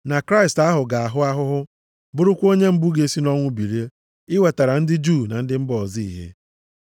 na Kraịst ahụ ga-ahụ ahụhụ, bụrụkwa onye mbụ ga-esi nʼọnwụ bilie, iwetara ndị Juu na ndị mba ọzọ ìhè.”